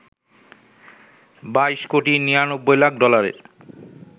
২২ কোটি ৯৯ লাখ ডলারের